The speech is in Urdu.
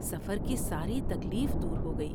سفر کی ساری تکلیف دور ہوگئی ۔